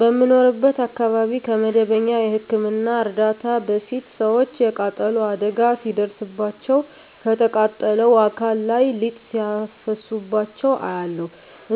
በምኖርበት አካባቢ ከመደበኛ የህክምና እርዳታ በፊት ሰወች የቃጠሎ አደጋ ሲደርስባቸው ከተቃጠለው አካል ላይ ሊጥ ሲያፈሱባቸው አያለሁ።